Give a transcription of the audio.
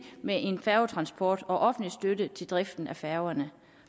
med færgetransport og offentlig støtte til driften af færgerne